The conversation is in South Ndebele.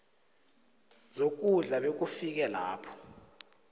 zokudla bekufike lapho